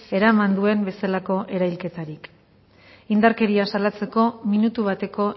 eraman duen bezalako erailketarik indarkeria salatzeko minutu bateko